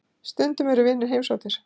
Stundum eru vinir heimsóttir.